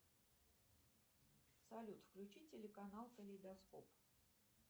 салют включи телеканал калейдоскоп